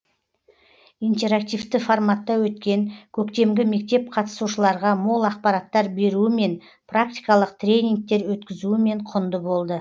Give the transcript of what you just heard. интерактивті форматта өткен көктемгі мектеп қатысушыларға мол ақпараттар беруімен практикалық тренингтер өткізуімен құнды болды